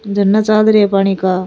झरना चल रहे है पानी का।